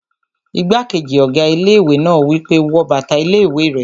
Igbákejì ọ̀gá ilé-ìwé náà wí pé, "wọ bàtà ilé-ìwé rẹ!"